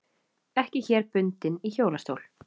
Ekki hér bundin í hjólastól.